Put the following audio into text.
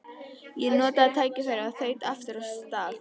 Ég notaði tækifærið og þaut aftur af stað.